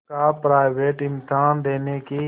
का प्राइवेट इम्तहान देने की